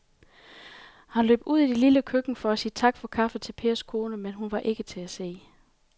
Han løb ud i det lille køkken for at sige tak for kaffe til Pers kone, men hun var ikke til at se.